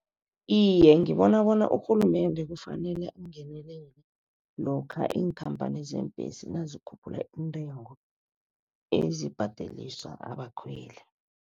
Iye, ngibona bona urhulumende kufanele angenelele, lokha iinkhamphani zeembhesi nazikhuphula intengo ezibhadeliswa abakhweli.